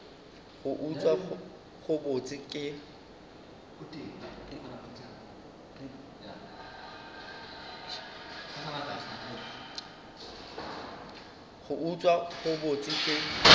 go utswa go bose ke